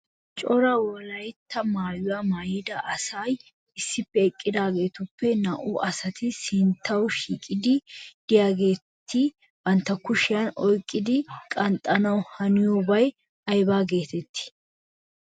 Cora wolaytta maayuwa maayida asay issippe eqqidaagetupp na'u asati sinttaw shiiqidi diyageeti bantta kushiyaan oyqqidi qanxxanaw haniyoobay aybba getetti ?